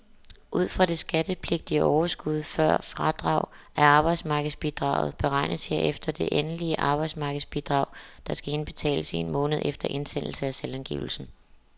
Ud fra det skattepligtige overskud, før fradrag af arbejdsmarkedsbidraget, beregnes herefter det endelige arbejdsmarkedsbidrag, der skal indbetales en måned efter indsendelse af selvangivelsen.